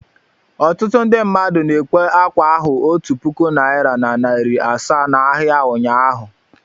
Ọtụtụ ndị mmadụ na-ekwe ákwà ahu otu puku naịra na narị asaa n'ahịa ụnyahụ.